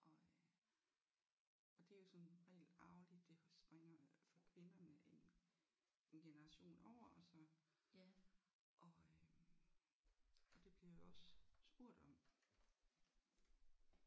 Og øh og det er jo som regel arveligt det springer for kvinderne en en generation over og så og øh og det bliver jeg jo også spurgt om